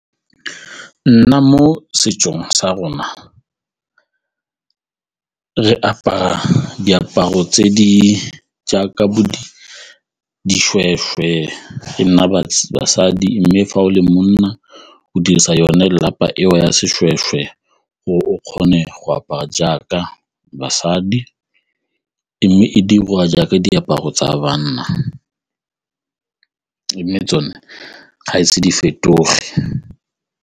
Nna mo setsong sa rona re apara diaparo tse di jaaka dishweshwe, e nna basadi mme fa o le monna go dirisa yone lelapa eo ya seshweshwe gore o kgone go apara jaaka basadi mme e dirwa jaaka diaparo tsa banna mme tsone ga ise di fetoge.